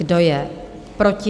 Kdo je proti?